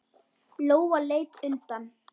Lóa leit undan.